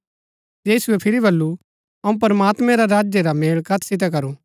यीशुऐ फिरी बल्लू अऊँ प्रमात्मैं रा राज्य रा मेल कत सितै करू